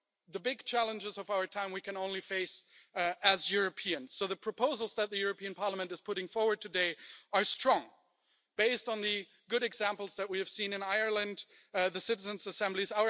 The big challenges of our time we can only face as Europeans, so the proposals that the European Parliament is putting forward today are strong, based on the good examples that we have seen in Ireland, the citizens' assemblies.